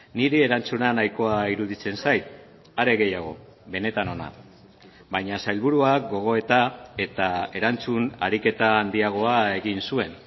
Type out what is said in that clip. niri erantzuna nahikoa iruditzen zait are gehiago benetan ona baina sailburuak gogoeta eta erantzun ariketa handiagoa egin zuen